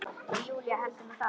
Og Júlía heldur nú það!